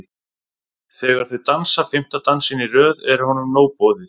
Þegar þau dansa fimmta dansinn í röð er honum nóg boðið.